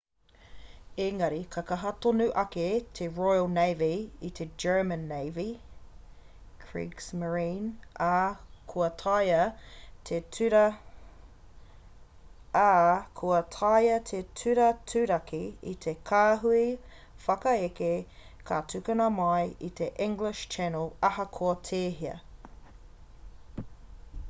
engari i kaha tonu ake te royal navy i te german navy kriegsmarine ā kua taea te turaturaki i te kāhui whakaeke ka tukuna mai i te english channel ahakoa tēhea